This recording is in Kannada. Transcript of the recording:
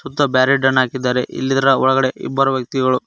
ಮತ್ತು ಬ್ಯಾರಿಡ ಅನ್ನ ಹಾಕಿದ್ದಾರೆ ಇಲ್ಲಿ ಇದರ ಒಳಗಡೆ ಇಬ್ಬರು ವ್ಯಕ್ತಿಗಳು --